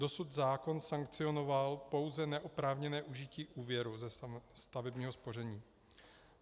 Dosud zákon sankcionoval pouze neoprávněné užití úvěru ze stavebního spoření.